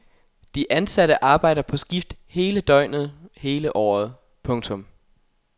De ansatte arbejder på skift hele døgnet hele året. punktum